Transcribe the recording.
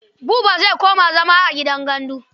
Buba zai koma zama a gidan gandu.